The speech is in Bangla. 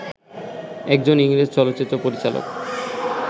একজন ইংরেজ চলচ্চিত্র পরিচালক